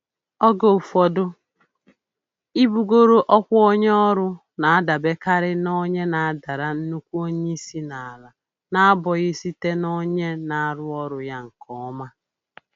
Oge ụfọdụ, ibugoro ọkwa onye ọrụ na-adabekarị na onye na-adara nnukwu onye isi n'ala n'abụghị site n'onye na-arụ ọrụ ya nke ọma